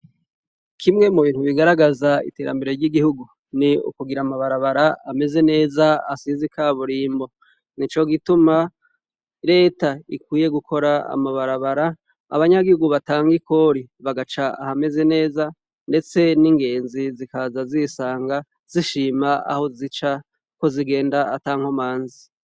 Kimwe mubintu bigaragazwa iterambere ryigihugu ni ukugira amabarabara ameze neza asize ikaburumbo nico gituma reta ikwiye gukora amabarabara abanyagihugu batange ikori bagaca ahameze neza ndetse ningenzi zikaza zisanga zishima aho zica ko zigenda atankomanzi